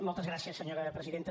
moltes gràcies senyora presidenta